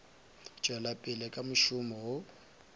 tšwela pele ka mošomo wo